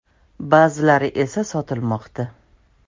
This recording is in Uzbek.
Ba’zilari esa sotilmoqda”.